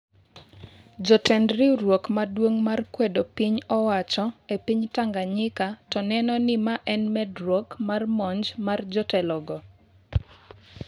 jotend riwruok maduong mar kwedo piny-owacho e piny Tanganyika to neno ni ma en medruok mar monj mar jotelogo